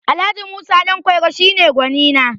Alh. Musa Ɗanƙwairo shi ne gwanina